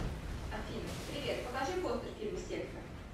афина привет покажи постер фильма секта